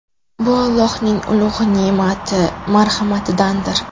Bu Allohning ulug‘ ne’mati, marhamatidandir.